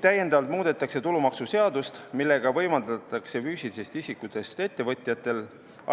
Täiendavalt muudetakse tulumaksuseadust, millega võimaldatakse füüsilistest isikutest ettevõtjatel